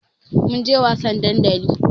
Mun je wasan dandali.